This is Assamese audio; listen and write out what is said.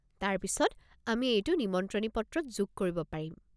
তাৰ পিছত আমি এইটো নিমন্ত্ৰণী পত্ৰত যোগ কৰিব পাৰিম।